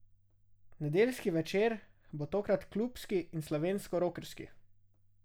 Nedeljski večer bo tokrat klubski in slovensko rokerski.